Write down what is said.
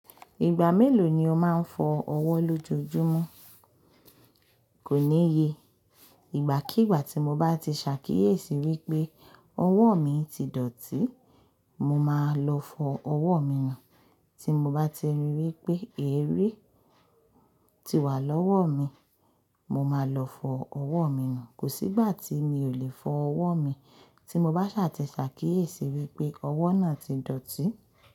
Ìgbà mélòó ni o máa ń fọ ọwọ́ lójoojúmọ́? Kò níye, ìgbàkígbà tí mo bá ti ṣàkíyèsí wípé ọwọ́ mi ti dọ̀tí, mo máa lọ fọ ọwọ́ mi nù. Tí mo bá ti rí wípé, eré ti wà lọ́wọ́ mi, mo máa lọ fọ ọwọ́ mi nù. Kò sí ìgbà tí mi ò lè fọ ọwọ́ mi, tí mo bá ṣaà ti ṣàkíyèsi wípé ọwọ́ náà ti dọ̀tí.